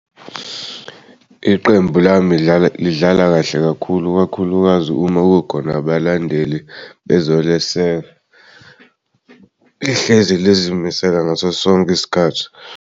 Iqembu lami lidlala kahle kakhulu ikakhulukazi uma kukhona abalandeli bezoleseka. Lihlezi lizimisele ngaso sonke isikhathi.